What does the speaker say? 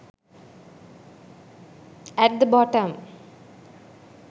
at the bottom